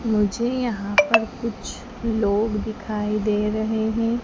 मुझे यहां पर कुछ लोग दिखाई दे रहा हैं।